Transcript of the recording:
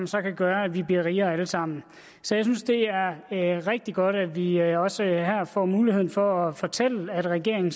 så kan gøre at vi bliver rigere alle sammen så jeg synes det er rigtig godt at vi også her får mulighed for at fortælle at regeringen